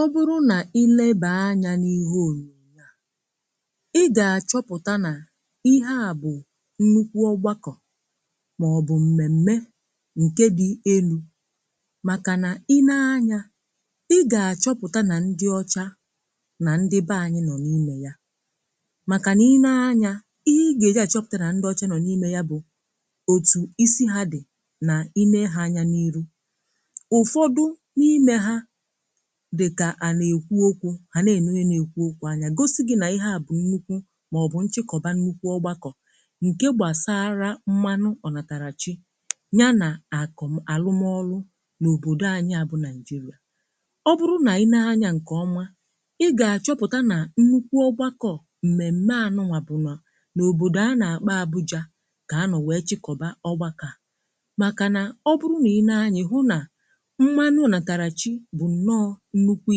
ọ bụrụ nà ilėbè anya n’ihe òru ya i gà-àchọpụ̀ta nà ihe à bụ̀ nnukwu gbakọ̀ màọ̀bụ̀ m̀mèm̀me nke dị̇ elu̇ màkà nà i nee anya i gà-àchọpụ̀ta nà ndị ọcha nà ndị bė anyị nọ̀ n’imė ya màkà nà i nee anya ihe ị gà-èji àchọpụ̀tara ndị ọcha nọ̀ n’imė ya bụ̀ òtù isi ha dị̀ nà i mee ha anya n’ihu dịkà à na-èkwu okwu̇ hà na-ènue na-èkwu okwu anya gosi gị̇ nà ihe à bụ̀ nnukwu màọ̀bụ̀ nchịkọ̀ba nnukwu ọgbakọ̀ ǹkè gbàsara mmanụ ọ̀nàtàrà chi nya nà àkụ̀m̀ àlụmọlụ n’òbòdò anyị̇ à bụ̀ nàịjịrà ọ bụrụ nà i nee anya ǹkè ọma ị gà-àchọpụ̀ta nà nnukwu ọgbakọ̀ ǹmèm̀me ànụwà bụ̀ nà n’òbòdò a nà-àkpa abụjȧ kà anọ̀ wee chịkọbà ọgbakọ̀ màkà nà ọ bụrụ nà i nee anyị̀ hụ nà nnukwu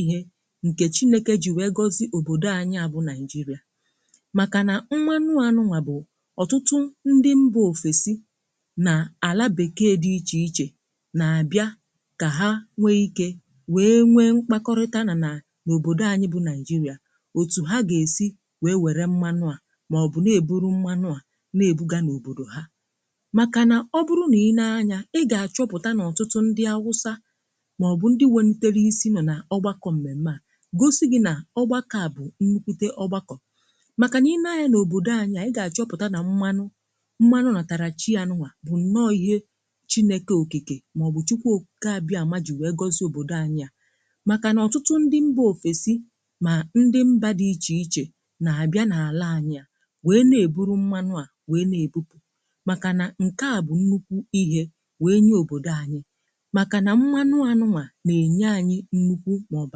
ihe nke chinėke ji wee gọzi òbòdò anyị̇ a bụ nigeria makà nà mmanụ anụnwà bụ̀ ọtụtụ ndị mbà òfèsi nà àlà bèkee dị ichè ichè nà àbịa kà ha nwee ikė wee nwee mkpakọrịta nà n’òbòdò anyị̇ bụ nigeria òtù ha gà-èsi wee wère mmanụ à màọbụ̀ na-eburu mmanụ à na-ebuga n’òbòdò ha màkà nà ọ bụrụ nà i nee anya ị gà-àchọpụ̀ta n’ọtụtụ ndị awụsa ndị welutere isi nọ na ọgbakọ̀ mmèmè à gosi gị nà ọgbakọ̀ à bụ̀ nnukwute ọgbakọ̀ maka nà i nee anya n’òbòdò anya ị gà-àchọpụta na mmanụ mmanụ na-atarà chi anụnwà bụ̀ nne oyìe chinėke òkìkè màọbụ̀ chukwu oke àbịa ma jì wee gozi òbòdò anyi à màkà nà ọtụtụ ndị mbà ofesi nà ndị mbà dị ichè ichè nà-àbịa n’ala anyi à wee na-eburu mmanụ à wee na-ebupù màkà nà ǹke à bụ̀ nnukwu ihe wee nye òbòdò anyi mmekọrịta màọbụ akata ebe a na-eke wère ka ebe ọbụrụ na ebe a na-enye anyị nnukwu màọbụ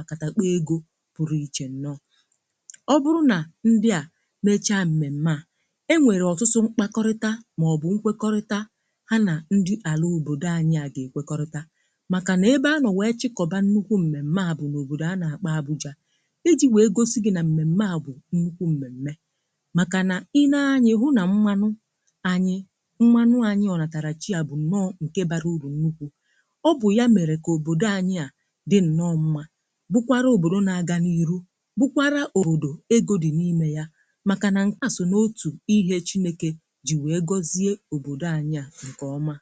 akata ebe egȯ pụrụ iche nọ ọ bụrụ na ndị a mechaa mmemme a enwere ọtụtụ mkpakọrịta màọbụ nkwekọrịta ha na ndị ala obodo anyị a ga-ekwekọrịta maka na ebe anọ wee chịkọba nnukwu mmemme a bụ n’obodo a na-akpa abụja iji wee gosi gị na mmemme a bụ nnukwu mmemme maka na i nee anyị hụ na mmanụ anyị bukwara òbòdò na-aga n’iru bụkwara òdò egȯ dị n’ime ya maka na nkà sò n’òtù ihe echimekė ji wee gọzie òbòdò anyị a nke ọmà.